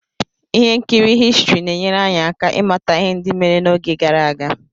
ihe nkiri Histrị na-enyere anyị aka ịmata ihe ndị mere n'oge gara aga